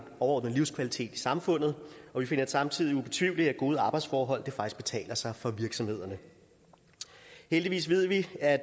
overordnet livskvalitet i samfundet og vi finder det samtidig ubetvivleligt at gode arbejdsforhold faktisk betaler sig for virksomhederne heldigvis ved vi at